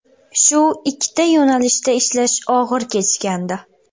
Shu ikkita yo‘nalishda ishlash og‘ir kechgandi.